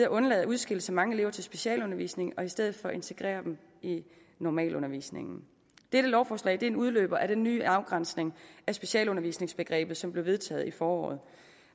undlader at udskille så mange elever til specialundervisning og i stedet for integrerer dem i normalundervisningen dette lovforslag er en udløber af den nye afgrænsning af specialundervisningsbegrebet som blev vedtaget i foråret